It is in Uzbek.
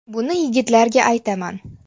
Buni yigitlarga aytaman.